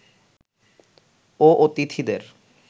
ও অতিথিদের